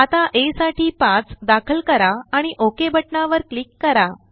आताaसाठी5दाखल करा आणि OKबटनावर क्लिक करा